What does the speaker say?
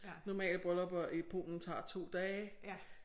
Normale bryllupper i Polen tager 2 dage